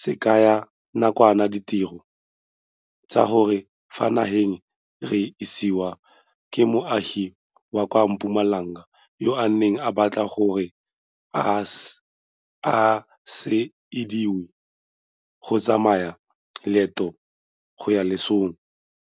sekega nakwana ditiro tsa ka fa nageng re isiwa ke moagi wa kwa Mpumalanga yo a neng a batla gore a se ilediwe go tsaya leeto go ya lesong.